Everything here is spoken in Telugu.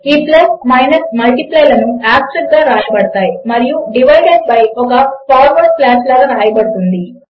ఈ ప్లస్ మైనస్ మల్టిప్లై లను ఆస్టెరిస్క్ గా వ్రాయబడతాయి మరియు డివైడ్ ఒక ఫార్వర్డ్ స్లాష్ లాగా వ్రాయబడుతుంది